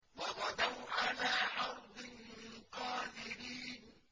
وَغَدَوْا عَلَىٰ حَرْدٍ قَادِرِينَ